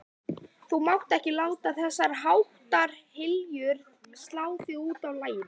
Þú mátt ekki láta þessháttar hégiljur slá þig útaf laginu.